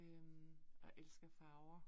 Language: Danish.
Øh og jeg elsker farver